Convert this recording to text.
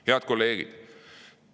Head kolleegid!